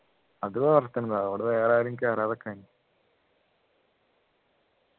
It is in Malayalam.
അത് വളർത്തുന്നതാ അവിടെ വേറെ ആരും കേറാതെ നിക്കാൻ